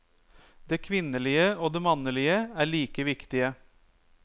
Det kvinnelige og det mannlige er like viktige.